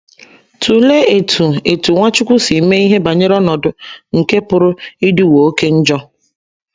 Tụlee etu etu Nwachukwu si mee ihe banyere ọnọdụ nke pụrụ ịdịwo oké njọ.